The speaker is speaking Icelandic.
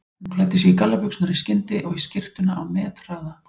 Hún klæddi sig í gallabuxurnar í skyndi og í skyrtuna á methraða.